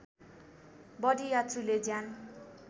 बढी यात्रुले ज्यान